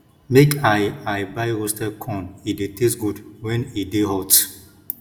make i i buy roasted corn e dey taste good wen e dey hot